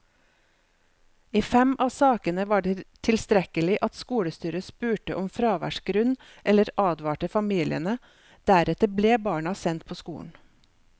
I fem av sakene var det tilstrekkelig at skolestyret spurte om fraværsgrunn eller advarte familiene, deretter ble barna sendt på skolen.